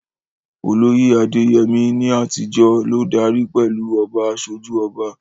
Olóyè Adeyemi, ní àtijọ́, ló darí pẹ̀lú "Oba Asoju Oba."